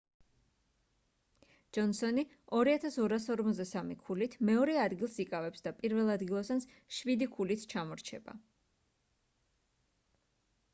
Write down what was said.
ჯონსონი 2243 ქულით მეორე ადგილზს იკავებს და პირველადგილოსანს შვიდი ქულით ჩამორჩება